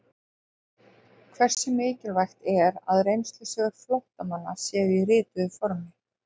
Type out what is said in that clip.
Hversu mikilvægt er að reynslusögur flóttamanna séu til í rituðu formi?